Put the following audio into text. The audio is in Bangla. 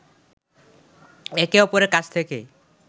একে অপরের কাছ থেকে